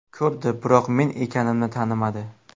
Ko‘rdi, biroq men ekanimni tanimadi.